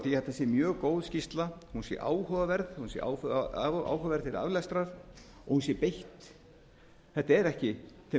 þetta sé mjög góð skýrsla hún sé áhugaverð hún sé áhugaverð til aflestrar og hún sé beitt þessi skýrsla er ekki til